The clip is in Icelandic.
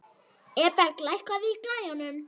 Eberg, lækkaðu í græjunum.